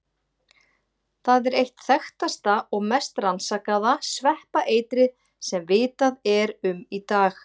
Það er eitt þekktasta og mest rannsakaða sveppaeitrið sem vitað er um í dag.